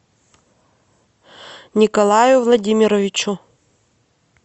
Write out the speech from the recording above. николаю владимировичу